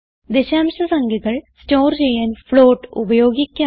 ദശാംശ സംഖ്യകൾ സ്റ്റോർ ചെയ്യാൻ ഫ്ലോട്ട് ഉപയോഗിക്കാം